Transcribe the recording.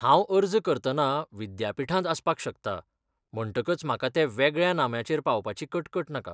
हांव अर्ज करतना विद्यापीठांत आसपाक शकता म्हणटकच म्हाका ते वेगळ्या नाम्याचेर पावपाची कटकट नाका.